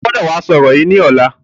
O gbọ́dọ̀ wá sọ ọ̀rọ̀ yìí ni ọ̀la!